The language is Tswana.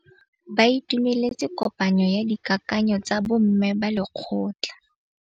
Ba itumeletse kôpanyo ya dikakanyô tsa bo mme ba lekgotla.